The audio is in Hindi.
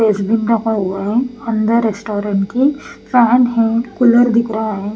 अंडरस्टोरन की फैन है कूलर दिख रहा है।